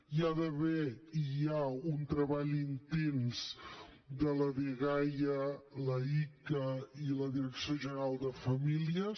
hi ha d’haver i hi ha un treball intens de la dgaia l’icaa i la direcció general de famílies